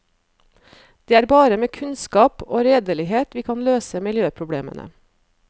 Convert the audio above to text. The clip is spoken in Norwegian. Det er bare med kunnskap og redelighet vi kan løse miljøproblemene.